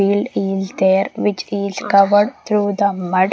field is there which is covered through the mud .